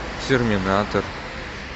терминатор